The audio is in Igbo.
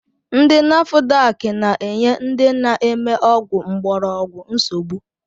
Ndi nafudak na-enye ndị na-eme ọgwụ mgborogwu nsogbu